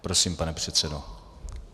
Prosím, pane předsedo.